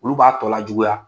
Olu b'a tɔ lajuguya!